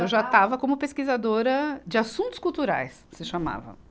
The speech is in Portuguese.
Eu já estava como pesquisadora de assuntos culturais, se chamava.